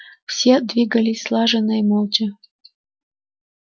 все двигались слаженно и молча